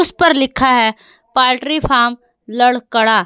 इसपर लिखा है पोल्ट्री फार्म लड़कड़ा।